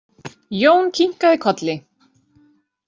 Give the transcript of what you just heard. Jón kinkaði kolli.